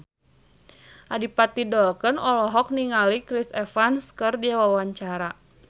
Adipati Dolken olohok ningali Chris Evans keur diwawancara